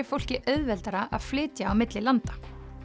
fólki auðveldara að flytja á milli landa